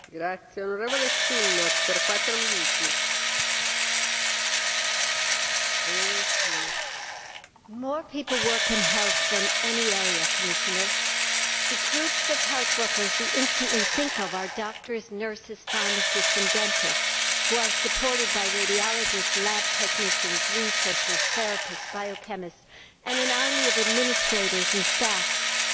Madam President, more people work in health than any other area. The groups of health workers we instantly think of are doctors, nurses, pharmacists and dentists, who are supported by radiologists, lab technicians, researchers, therapists, biochemists and an army of administrators and staff who keep health services functioning.